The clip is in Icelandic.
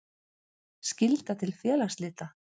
Skylda til félagsslita.